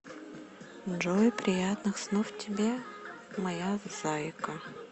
джой приятных снов тебе моя зайка